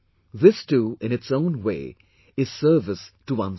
This, too, in its own way, is service to one's country